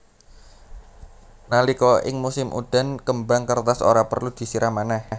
Nalika ing musim udan kembang kertas ora perlu disiram manèh